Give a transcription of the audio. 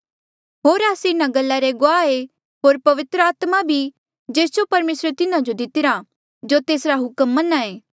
होर आस्से इन्हा गल्ला रे गुआह ऐें होर पवित्र आत्मा भी जेस जो परमेसरे तिन्हा जो दितिरा जो तेसरा हुक्म मन्हां ऐें